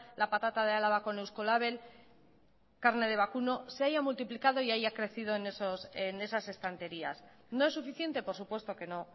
la patata de álava con eusko label carne de vacuno se haya multiplicado y haya crecido en esas estanterías no es suficiente por supuesto que no